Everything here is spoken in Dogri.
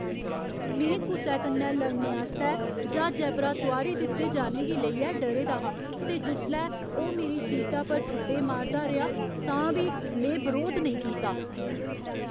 में कुसै कन्नै लड़ने आस्तै ज्हाजै परा तुआरी दित्ते जाने गी लेइयै डरे दा हा ते जिसलै ओह् मेरी सीटा पर ठुड्डे मारदा रेहा तां बी में बरोध नेईं कीता।